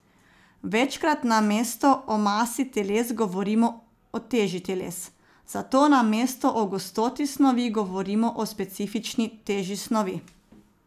Večkrat namesto o masi teles govorimo o teži teles, zato namesto o gostoti snovi govorimo o specifični teži snovi.